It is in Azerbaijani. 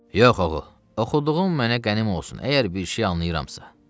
Yox ağa, oxuduğum mənə qənim olsun, əgər bir şey anlayıramsa, nə olsun?